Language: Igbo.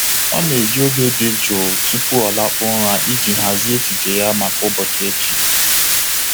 Ọ na-eji oge dị jụụ tupu ọ lakpuo ụra iji hazie echiche ya maka ụbọchị echi.